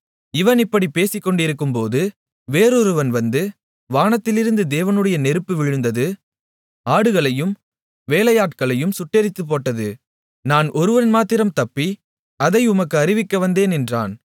இவன் இப்படிப் பேசிக்கொண்டிருக்கும்போது வேறொருவன் வந்து வானத்திலிருந்து தேவனுடைய நெருப்பு விழுந்து ஆடுகளையும் வேலையாட்களையும் சுட்டெரித்துப்போட்டது நான் ஒருவன் மாத்திரம் தப்பி அதை உமக்கு அறிவிக்க வந்தேன் என்றான்